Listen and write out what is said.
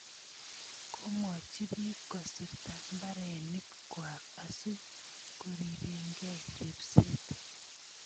Komwochi piik kosirta mbarenik kwaak asikoripekei repset.